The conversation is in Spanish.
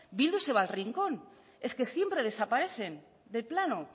bildu se va al rincón es que siempre desaparecen del plano